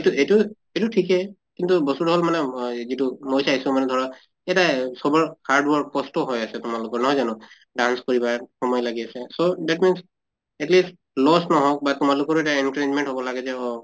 তো এইটো ঠিকে কিন্তু বস্তুটো হʼল মানে মই যিটো মই চাইছো মানে ধৰা এটা চবৰ hard work কষ্ট হৈ আছে তোমালোকৰ নহয় জানো? dance কৰিবা সময় লাগি আছে তʼ that means at least loss নহওঁক বা তোমালোকৰো এটা encouragement হʼব লাগে যে অহ